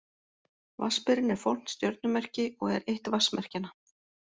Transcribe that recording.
Vatnsberinn er fornt stjörnumerki og er eitt vatnsmerkjanna.